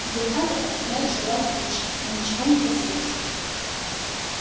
результаты оставляют желать лучшего но ничего не поделаешь